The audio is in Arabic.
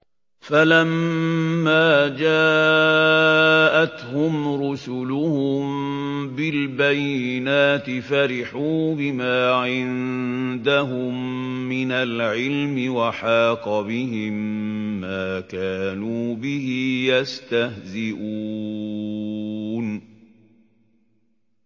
فَلَمَّا جَاءَتْهُمْ رُسُلُهُم بِالْبَيِّنَاتِ فَرِحُوا بِمَا عِندَهُم مِّنَ الْعِلْمِ وَحَاقَ بِهِم مَّا كَانُوا بِهِ يَسْتَهْزِئُونَ